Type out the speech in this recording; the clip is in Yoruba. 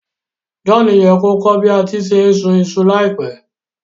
John ye ko kọ́ bi a se n sùn isu láìpẹ́